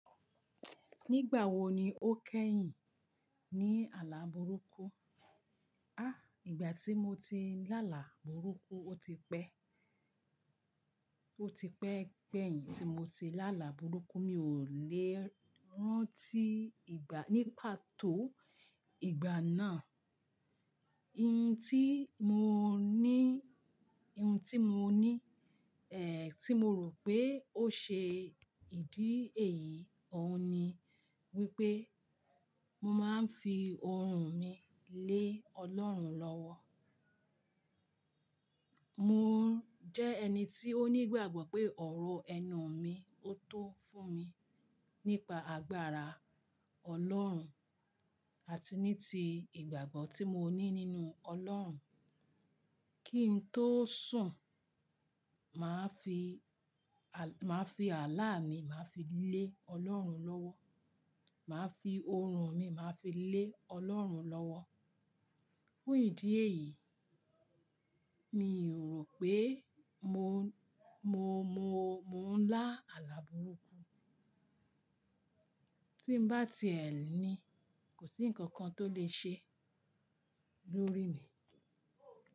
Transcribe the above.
Nígbà wo ni o kẹ́yìn ní àlà burúkú? À, ìgbà tí mo ti lá là burúkú, o ti pẹ́, o ti pẹ́ pẹ́yìn tí mo ti lá là burúkú, mi o le rántí ìgbà, ní pàtó ìgbà náà. Iun tí mo ní, iún tí mo ní, ẹ, tí mo rò pé ó ṣe ìdí èyí òun ni wípé mo máa ń fi oorun mi lé Ọlọ́run lọ́wọ́. Mò ń jẹ́ ẹni tí ó ní ìgbàgbọ́ pé ọ̀rọ̀ ẹnu mi o tó fún mi nípa agbára Ọlọ́run àti ní ti ìgbàgbọ́ tí mo ní nínú Ọlọ́run. Kí n tó sùn, màá fi, màá fi àlà mi, màá fi lé Ọlọ́run lọ́wọ́. Màá fi oorun mi, màá fi lé Ọlọ́run lọ́wọ́. Fún ìdí èyí, mi ò rò pé mo, mo, mo, mo ń lá àlà burúkú. Tí n bá ti ẹ̀ ni, kò sí ǹkan kan tó lè ṣe lórí mi.